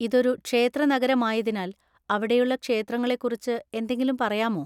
ഇതൊരു ക്ഷേത്രനഗരമായതിനാൽ അവിടെയുള്ള ക്ഷേത്രങ്ങളെക്കുറിച്ച് എന്തെങ്കിലും പറയാമോ?